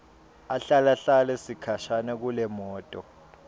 ahlalahlale sikhashana kulemoto